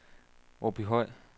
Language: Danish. Åbyhøj